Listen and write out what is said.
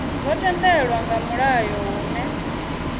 zwo tendelwa nga mulayo hune